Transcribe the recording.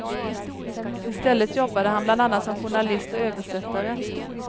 Istället jobbade han bland annat som journalist och översättare.